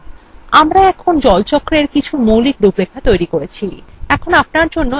এখন আমরা water cyclewe কিছু মৌলিক রূপরেখা তৈরি করেছি